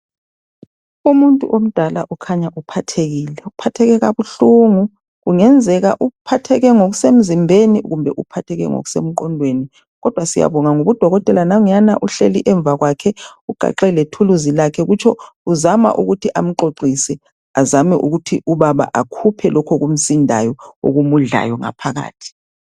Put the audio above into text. Umuntu omdala ukhanya uphathekile, uphatheke kabuhlungu. Kungenzeka uphatheke ngokusemzimbeni kumbe uphatheke ngokusemqondweni. Kodwa siyabonga ngobudokotela uhleli Emva kwakhe ugaxe lethuluzi lakhe .Kutsho uzama ukuthi amxoxise azame ukuthi ubaba akhuphe lokho okumsindayo okumudlayo ngaphakathi.